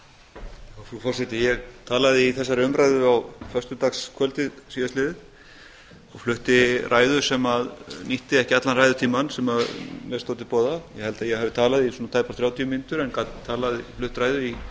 frú forseti ég talaði í þessari umræðu á föstudagskvöldið síðastliðið og flutti ræðu sem nýtti ekki allan ræðutímann sem mér stóð til boða ég held að ég hafi talað í tæpar þrjátíu mínútur en gat flutt ræðu í